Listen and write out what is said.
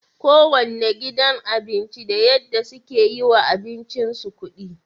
kowanne gidan abinci da yadda suke yiwa abincin su kudi